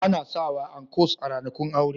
Ana sawa ankos a ranakun aure